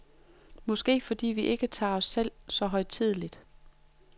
Måske fordi vi ikke tager os selv så højtideligt.